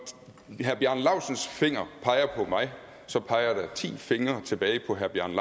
herre bjarne laustsens finger peger på mig så peger der ti fingre tilbage på herre bjarne